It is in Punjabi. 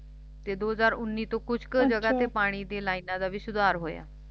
ਤੇ ਦੋ ਹਜ਼ਾਰ ਉੱਨੀ ਤੋਂ ਕੁਛ ਕ ਜਗ੍ਹਾ ਚ ਪਾਣੀ ਦੀ ਲਾਈਨਾਂ ਦਾ ਵੀ ਸੁਧਾਰ ਹੋਇਆ